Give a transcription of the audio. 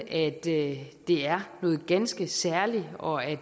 at det er noget ganske særligt og at